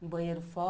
Um banheiro